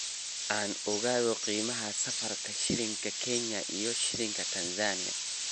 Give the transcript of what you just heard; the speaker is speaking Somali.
aan ogaado qiimaha sarifka shilinka kenya iyo shilinka Tanzania